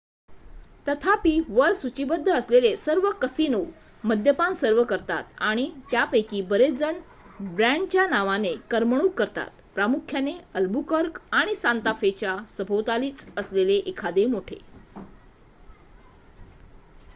तथापि वर सूचीबद्ध असलेले सर्व कसिनो मद्यपान सर्व्ह करतात आणि त्यापैकी बरेचजण ब्रँडच्या नावाने करमणूक करतात प्रामुख्याने अल्बुकर्क आणि सांता फे च्या सभोवतालीच असलेले मोठे एखादे